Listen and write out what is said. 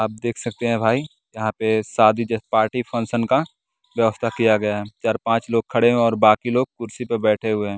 आप देख सकते हैं भाई यहां पे शादी पार्टी फंक्शन का व्यवस्था किया गया है चार पांच लोग खड़े हैं और बाकी लोग कुर्सी पर बैठे हुए हैं।